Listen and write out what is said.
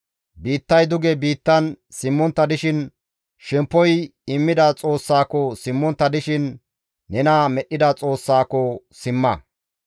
biittay duge biittan simmontta dishin, shemppoy immida Xoossako simmontta dishin, nena Medhdhida Xoossako simma.